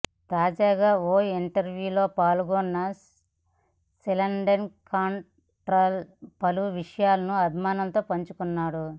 తాజాగా ఓ ఇంటర్వ్యూలో పాల్గొన్న షెల్డన్ కాట్రెల్ పలు విషయాలను అభిమానులతో పంచుకున్నాడు